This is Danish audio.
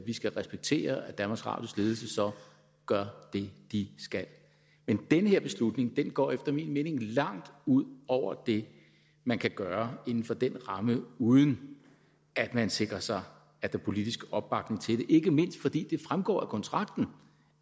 vi skal respektere at danmarks radios ledelse så gør det de skal men den her beslutning går efter min mening langt ud over det man kan gøre inden for den ramme uden at man sikrer sig politisk opbakning til det ikke mindst fordi det fremgår af kontrakten